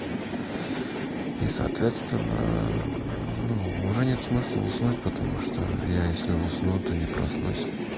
и соответственно ну уже нет смысла уснуть потому что я если усну то не проснусь